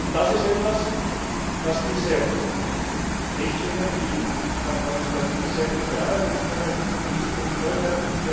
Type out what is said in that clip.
Das ist etwas, was diese Richtlinie, die von Frau Muscardini sehr gut bearbeitet wurde, in Zukunft vorschreibt.